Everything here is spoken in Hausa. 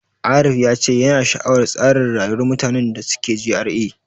Arif ya ce yana sha'awar tsarin rayuwar mutanen da suke GRA.